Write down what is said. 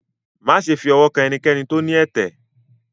máṣe fi ọwọ kàn enikéni tó ní ẹtẹ!